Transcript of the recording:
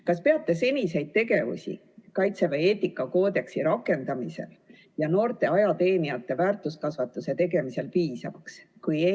Kas peate seniseid tegevusi Kaitseväe eetikakoodeksi rakendamisel ja noorte ajateenijate väärtuskasvatuse tegemisel piisavaks?